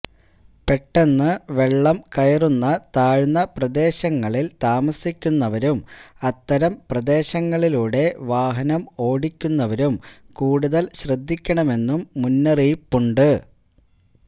പെട്ടെന്ന് വെള്ളം കയറുന്ന താഴ്ന്ന പ്രദേശങ്ങളില് താമസിക്കുന്നവരും അത്തരം പ്രദേശങ്ങളിലൂടെ വാഹനം ഓടിക്കുന്നവരും കൂടുതല് ശ്രദ്ധിക്കണമെന്നും മുന്നറിയിപ്പുണ്ട്